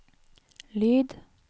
lyd